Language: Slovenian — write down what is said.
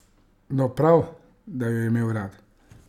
No, prav, da jo je imel rad.